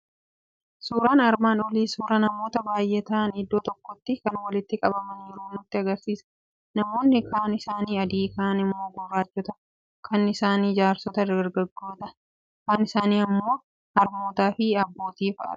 Suuraan armaan olii suuraa namoota baay'ee ta'an, iddoo tokkotti kan walitti qabamaniiru nutti argisiisa. Namoonni kaan isaanii adii, kaan immoo gurraachota, kaan isaanii jaarsota, dargaggoota, ijoollota, harmootaa fi aboota fa'adha.